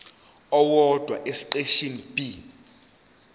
owodwa esiqeshini b